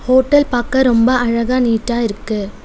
Hotel பாக்க ரொம்ப அழகா நீட்டா இருக்கு.